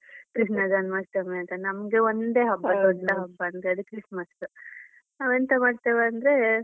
ಕೃಷ್ಣ ಜನ್ಮಾಷ್ಟಮಿ ನಮ್ಗೆ ಒಂದೆ ಹಬ್ಬ Christmas ನಾವ್ ಎಂತ ಮಾಡ್ತೇವೆ ಅಂದ್ರೆ.